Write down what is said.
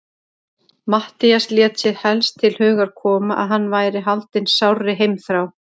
Matthías lét sér helst til hugar koma, að hann væri haldinn sárri heimþrá.